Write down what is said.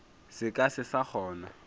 se ka se sa kgona